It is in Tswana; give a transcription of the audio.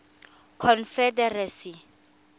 confederacy